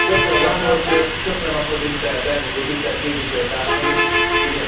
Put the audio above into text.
Tisztelt elnök úr, tisztelt képviselőtársaim, igen tisztelt miniszterelnök úr!